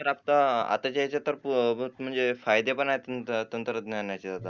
तर आता आत्ताच्या ह्याच्यात बहुत म्हणजे फायदे पण आहेत तंत्रज्ञान